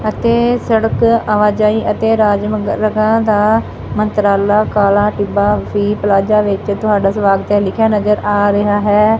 ਅਤੇ ਸੜਕ ਆਵਾਜਾਈ ਅਤੇ ਰਾਜ ਮੰਗਾਂ ਦਾ ਮੰਤਰਾਲਾ ਕਾਲਾ ਟਿੱਬਾ ਵੀ ਪਲਾਜਾ ਵਿੱਚ ਤੁਹਾਡਾ ਸਵਾਗਤ ਹੈ ਲਿਖਿਆ ਨਜ਼ਰ ਆ ਰਿਹਾ ਹੈ।